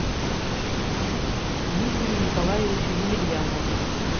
дмитрию николаевичу емельянову